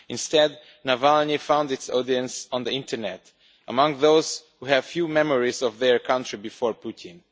Instead, Navalny found his audience on the internet, among those who have few memories of their country before Putin.